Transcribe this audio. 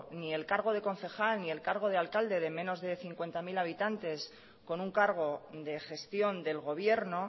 ni el cargo de concejal ni el cargo del alcalde de menos de cincuenta mil habitantes con un cargo de gestión del gobierno